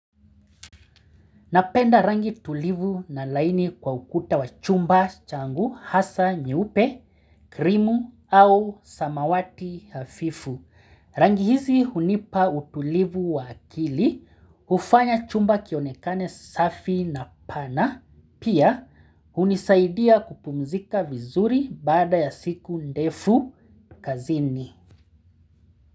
Napenda rangi tulivu na laini kwa ukuta wa chumba changu hasa nyeupe, krimu au samawati hafifu. Rangi hizi hunipa utulivu wa akili, hufanya chumba kionekane safi na pana, pia hunisaidia kupumzika vizuri baada ya siku ndefu kazini.